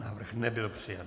Návrh nebyl přijat.